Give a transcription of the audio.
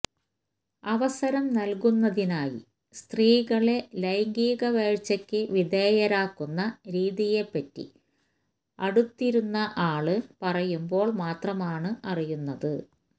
അവസരം നല്കുന്നതിനായി സ്ത്രീകളെ ലൈംഗികവേഴ്ചയ്ക്ക് വിധേയരാക്കുന്ന രീതിയെപ്പറ്റി അടുത്തിരുന്ന ആള് പറയുമ്പോള് മാത്രമാണ് അറിയുന്നത്